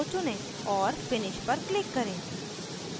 और finish पर click करें